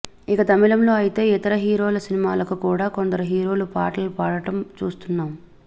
ఇక తమిళంలో అయితే ఇతర హీరోల సినిమాలకు కూడా కొందరు హీరోలు పాటలు పాడటం చూస్తున్నాం